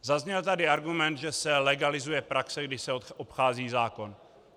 Zazněl tady argument, že se legalizuje praxe, kdy se obchází zákon.